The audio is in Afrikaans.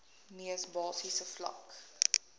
mees basiese vlak